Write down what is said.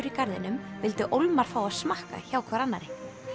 í garðinum vildu ólmar fá að smakka hjá hvor annarri